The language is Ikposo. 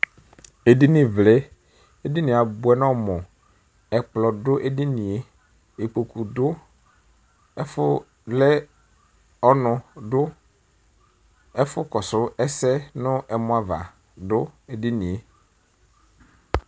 Edinivlɛ Edini yɛ abʋɛ nʋ ɔmʋ Ɛkplɔ dʋ edini yɛ, ikpoku dʋ, ɛfʋvlɛ ɔnʋ dʋ, ɛfʋkɔsʋ ɛsɛ nʋ ɛmɔ ava dʋ edini yɛ